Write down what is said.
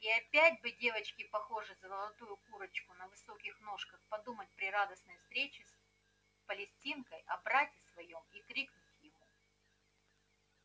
и опять бы девочке похожей на золотую курочку на высоких ножках подумать при радостной встрече с палестинкой о брате своём и крикнуть ему